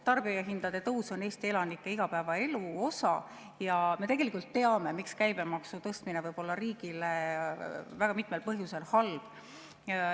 Tarbijahindade tõus on Eesti elanike igapäevaelu osa ja me tegelikult teame, miks käibemaksu tõstmine võib olla riigile väga mitmel põhjusel halb.